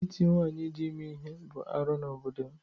Ịti nwaanyị dị ime ihe bụ arụ n’obodo m.